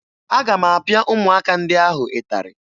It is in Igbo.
Aga m apịa ụmụaka ndị ahụ ịtarị